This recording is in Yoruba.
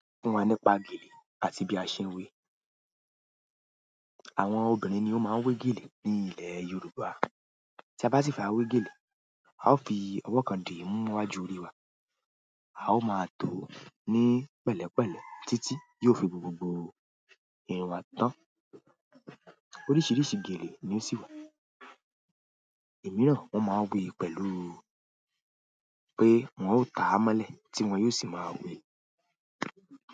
Fún wa nípa gèlè àti bí a ṣe ń wé. Àwọn obìnrin ni ó máa ń wé gèlè ní ilẹ̀ Yorùbá. Tí a bá ti fẹ́ à wé gèlè, a ó fi ọwọ́ kan di múwájú orí wa, a ó máa tó ó ní pẹ̀lẹ́pẹ̀lẹ́ títí yóò fi gbogbogbò irun wa tán. Oríṣìíríṣìí geèlè ni ó sì wà. Ẹ̀mí náà wọ́n máa ń wé pẹ̀lú pé wọ́n ó ta amọ́lẹ̀ tí wọ́n yóò sì máa wé.